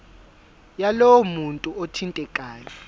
yalowo muntu othintekayo